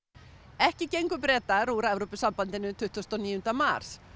ekki gengu Bretar úr Evrópusambandinu tuttugasta og níunda mars